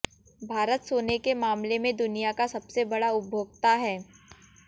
भारत सोने के मामले में दुनिया का सबसे बड़ा उपभोक्ता है